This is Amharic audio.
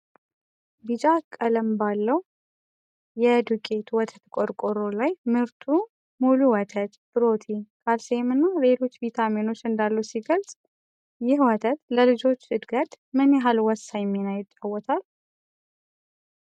ቢጫ ቀለም ባለው የ Nestlé NIDO የዱቄት ወተት ቆርቆሮ ላይ፣ ምርቱ ሙሉ ወተት፣ ፕሮቲን፣ ካልሲየምና ሌሎች ቪታሚኖች እንዳሉት ሲገለጽ፣ ይህ ወተት ለልጆች እድገት ምን ያህል ወሳኝ ሚና ይጫወታል?